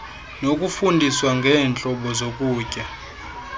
nokufundiswa ngeentlobo zokutya